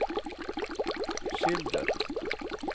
skildret